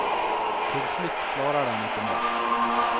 Til slutt klarer den ikke mer.